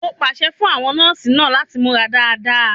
Mo pàṣẹ fún àwọn nọ́ọ̀sì náà láti múra dáadáa.